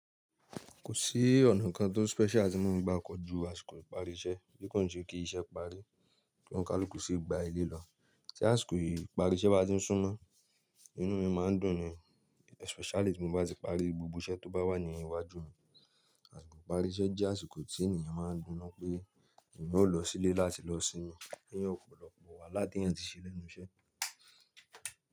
Kò sí ọ̀nà kan tó special tí mo ń gba kọ ju àsìkò ìparí iṣẹ́, bí kò ń ṣe kìí iṣe parí, kí ounkaluku sí gba ilé lọ tí àsìkò yìí ìparí iṣẹ́ bá ti ń súnmọ́, inú mi máa ń dùn ni, especially tí mo bá ti parí gbogbo iṣẹ́ tó bá wà ní iwájú mi. Àsìkò ìparí iṣẹ́ jẹ́ àsìkò tí ènìyàn máa ń dúnnu pé ènìyàn ó lọ sílé láti lọ sinmi, lẹ́yìn ọ̀pọ̀lọpọ̀ wàhálà tí èyàn ti ṣe lẹ́nu iṣẹ́.